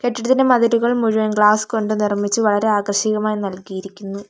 കെട്ടിടത്തിൻ്റെ മതിലുകൾ മുഴുവൻ ഗ്ലാസ് കൊണ്ട് നിർമ്മിച്ച് വളരെ ആകർശ്ശികമായി നൽകിയിരിക്കുന്നു.